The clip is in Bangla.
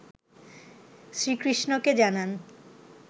শ্রীকৃষ্ণকে জানান